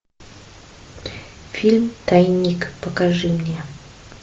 фильм тайник покажи мне